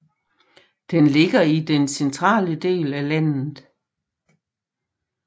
Den ligger i den centrale del af landet